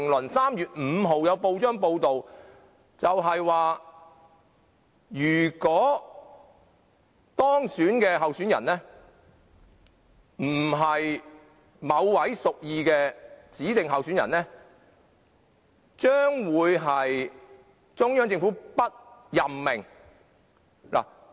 在3月5日又有報章報道，指如果當選的候選人並非中央政府所屬意的，將不獲任命。